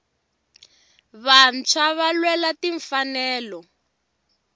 vantshwava lwela tinfanelo